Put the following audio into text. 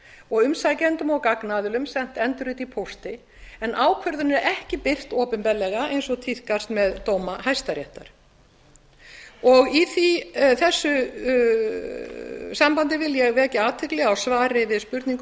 og umsækjendum og gagnaðilum sent endurrit í pósti en ákvörðunin ekki birt opinberlega líkt og tíðkast með dóma hæstaréttar í þessu sambandi vil ég vekja athygli á svari við spurningu